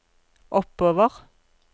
oppover